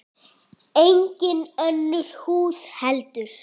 Engin önnur hús heldur.